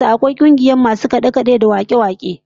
A kauyen su akwai kungiyar masu kade-kade da wake-wake